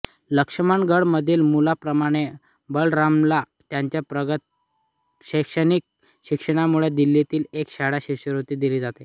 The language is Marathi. लक्ष्मणगडमधील मुलाप्रमाणे बलरामला त्याच्या प्रगत शैक्षणिक शिक्षणामुळे दिल्लीतील एका शाळेत शिष्यवृत्ती दिली जाते